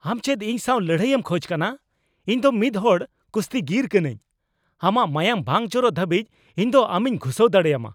ᱟᱢ ᱪᱮᱫ ᱤᱧ ᱥᱟᱶ ᱞᱟᱹᱲᱦᱟᱹᱭᱮᱢ ᱠᱷᱚᱡ ᱠᱟᱱᱟ ? ᱤᱧ ᱫᱚ ᱢᱤᱫ ᱦᱚᱲ ᱠᱩᱥᱛᱤᱜᱤᱨ ᱠᱟᱹᱱᱟᱹᱧ ! ᱟᱢᱟᱜ ᱢᱟᱸᱭᱟᱸᱢ ᱵᱟᱝ ᱡᱚᱨᱚᱜ ᱫᱷᱟᱵᱤᱡ ᱤᱧ ᱫᱚ ᱟᱢᱤᱧ ᱜᱩᱥᱟᱹᱣ ᱫᱟᱲᱮᱭᱟᱢᱟ ᱾